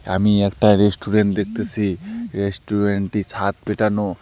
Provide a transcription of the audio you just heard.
আমি একটা রেস্টুরেন্ট দেখতেছি রেস্টুরেন্ট -টি ছাদ পেটানো।